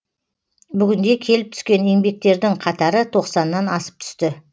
бүгінде келіп түскен еңбектердің қатары тоқсаннан асып түсті